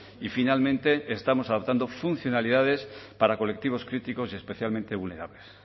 y finalmente estamos adaptando funcionalidades para colectivos críticos y especialmente vulnerable